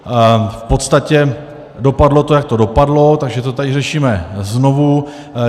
V podstatě to dopadlo, jak to dopadlo, takže to tady řešíme znovu.